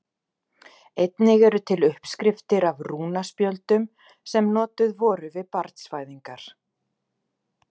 Einnig eru til uppskriftir af rúnaspjöldum sem notuð voru við barnsfæðingar.